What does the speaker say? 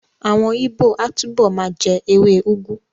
Àwọn Ìgbó á túbọ̀ ma jẹ́ ewé úgú